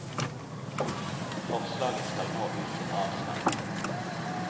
Forslaget skal nå ut til avstemning.